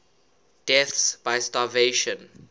deaths by starvation